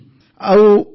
ହୁଁ ହୁଁ